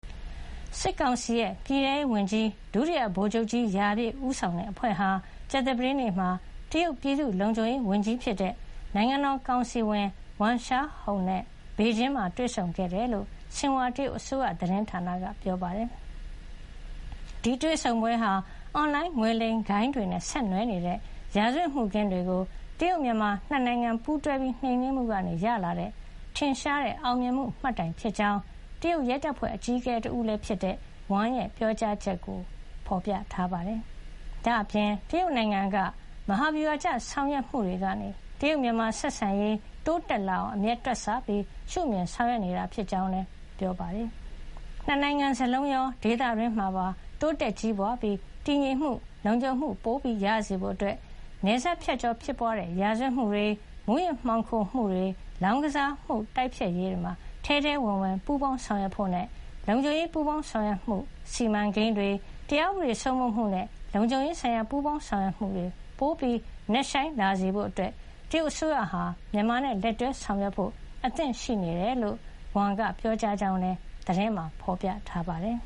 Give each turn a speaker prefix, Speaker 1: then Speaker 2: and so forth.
Speaker 1: စစ်ကောင်စီရဲ့ပြည်ထဲရေးဝန်ကြီး ဒုတိယဗိုလ်ချုပ်ကြီးရာပြည့် ဦးဆောင်တဲ့အဖွဲ့ဟာ ကြာသပတေးနေ့မှာ တရုတ်ပြည်သူ့လုံခြုံရေးဝန်ကြီးဖြစ်တဲ့ နိုင်ငံတော်ကောင်စီဝင် ဝမ် ရှားဟုန် (Wang Xiaohong) နဲ့ ဘေဂျင်းမှာတွေ့ဆုံခဲ့တယ်လို့ ဆင်ဟွာတရုတ်အစိုးရသတင်းဌာနက ဖေါ်ပြပါတယ်။ ဒီတွေ့ဆုံပွဲဟာ အွန်လိုင်းငွေလိမ်ဂိုဏ်းနဲ့ဆက်နွယ်နေတဲ့ ရာဇဝတ်မှုခင်းတွေကို တရုတ်- မြန်မာနှစ်နိုင်ငံ ပူးတွဲနှိမ်းနင်းမှုကနေရလာတဲ့ ထင်ရှားတဲ့အောင်မြင်မှု မှတ်တိုင်ဖြစ်ကြောင်း တရုတ်ရဲတပ်ဖွဲ့ အကြီးအကဲလည်းဖြစ်တဲ့ Wang ရဲ့ ပြောကြားချက်ကိုလည်း ဖေါ်ပြထားပါတယ်။ ဒါ့အပြင် တရုတ်နိုင်ငံက မဟာဗျူဟာကျ ဆောင်ရွက်မှုတွေကနေ တရုတ်- မြန်မာ ဆက်ဆံရေးတိုးတက်လာအောင် အမြဲတွက်ဆပြီး ရှုမြင် ဆောင်ရွက်နေတာ ဖြစ်ကြောင်းလည်း ပြောပါတယ်။ ၂ နိုင်ငံစလုံးရော၊ ဒေသတွင်းမှာပါ တိုးတက်ကြီးပွါးပြီး တည်ငြိမ်မှု၊ လုံခြံမှု ပိုရစေဖို့ နယ်စပ်ဖြတ်ကျော်ဖြစ်ပွါးတဲ့ ရာဇဝတ်မှုတွေ၊ မူးယစ်မှောင်ခိုမှုတွေ၊ လောင်းကစားမှုတွေ တိုက်ဖျက်ရေးမှာ ထဲထဲဝင်ဝင် ပူးပေါင်းဆောင်ရွက်ဖို့နဲ့ လုံခြုံရေးပူးပေါင်းဆောင်ရွက်မှု စီမံကိန်းတွေ၊ တရားဥပဒေစိုးမိုးမှုနဲ့ လုံခြုံရေးဆိုင်ရာ ပူးပေါင်းဆောင်ရွက်မှုတေ ပိုနက်ရှိုင်းလာစေဖို့ တရုတ်အစိုးရက မြန်မာနဲ့ လက်တွဲဆောင်ရွက်ဖို့ အသင့်ရှိတယ်လို့ Wang က ပြောကြားကြောင်းလည်း ဖေါ်ပြထားပါတယ်